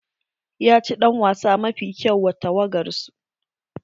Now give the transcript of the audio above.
Ya ci ɗan wasa mafi kyau wa tawagar su.